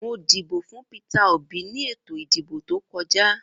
Mo dìbò fún Peter Obi ni ètò ìdìbò tojá.